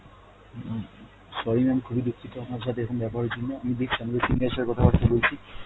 উম sorry mam খুবই দুক্ষিত আপনার সথে এরকম ব্যবহার এর জন্য, আমি দেখছি আমাদের senior দের সথে কথা বার্তা বলছি